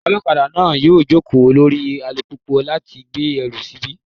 Olokada náà yọ ìjókòó orí alùpùpù láti gbé ẹrù síbẹ̀.